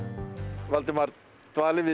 Valdimar dvalið við